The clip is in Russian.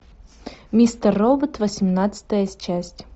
мистер робот восемнадцатая часть